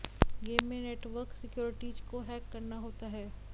game में network securities को hack करना होता है